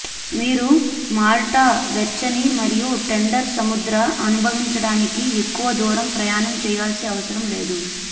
మీరు మాల్టా వెచ్చని మరియు టెండర్ సముద్ర అనుభవించడానికి ఎక్కువ దూరం ప్రయాణం చేయాల్సి అవసరం లేదు